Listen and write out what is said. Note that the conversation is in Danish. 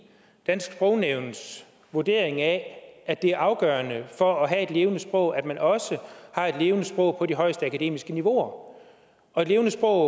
dansk sprognævns vurdering af at det er afgørende for at have et levende sprog at man også har et levende sprog på de højeste akademiske niveauer og og et levende sprog